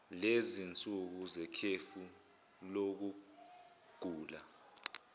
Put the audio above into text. sezinsuku zekhefu lokugula